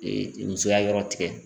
Ee musoya yɔrɔ tigɛ